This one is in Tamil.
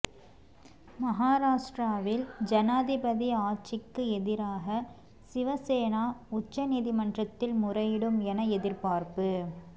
மகாராஷ்டிராவில் ஜனாதிபதி ஆட்சிக்கு எதிராக சிவசேனா உச்ச நீதிமன்றதில் முறையிடும் என எதிர்பார்ப்பு